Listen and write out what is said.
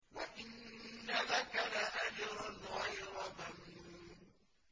وَإِنَّ لَكَ لَأَجْرًا غَيْرَ مَمْنُونٍ